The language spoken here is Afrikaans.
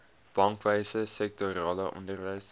bankwese sektorale onderwys